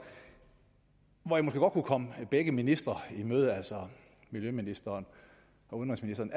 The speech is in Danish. kunne komme begge ministre i møde altså miljøministeren og udenrigsministeren